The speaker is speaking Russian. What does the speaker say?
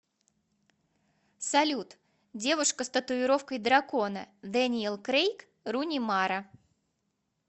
салют девушка с татуировкой дракона дэниел крейг руни мара